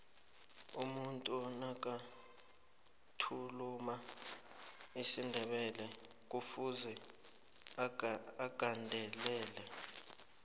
umuntu nakathuluma isindebelekufuze agandelele